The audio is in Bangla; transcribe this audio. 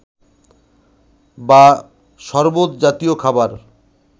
বা সরবত জাতীয় খাবার